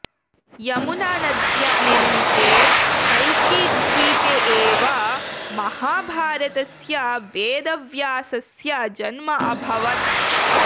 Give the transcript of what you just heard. यमुनानद्या निर्मिते कल्किद्वीपे एव महाभारतस्य वेदव्यासस्य जन्म अभवत्